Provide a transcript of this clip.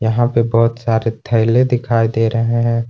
यहां पे बहुत सारे थैले दिखाई दे रहे हैं।